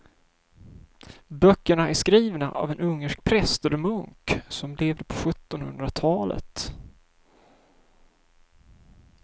Böckerna är skrivna av en ungersk präst eller munk som levde på sjuttonhundratalet.